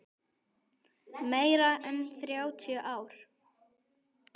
Meira en þrjátíu ár.